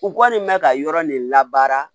U kɔni bɛ ka yɔrɔ de labaara